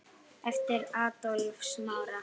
Eftir Adolf Smára.